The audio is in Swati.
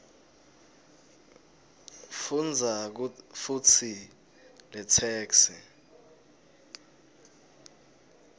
fundza futsi letheksthi